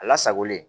A lasagolen